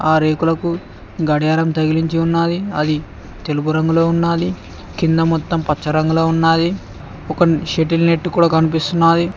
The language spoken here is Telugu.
ఆ రేకులకు గడియారం తగిలించి ఉన్నాది అది తెలుపు రంగులో ఉన్నాది కింద మొత్తం పచ్చ రంగులో ఉన్నాది ఒక షటిల్ నెట్టు కూడ కనిపిస్తున్నాది.